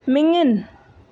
mingin.